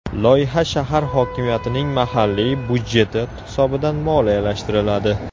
Loyiha shahar hokimiyatining mahalliy byudjeti hisobidan moliyalashtiriladi.